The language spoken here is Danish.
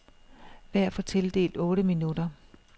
Hver får tildelt otte minutter.